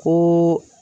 Ko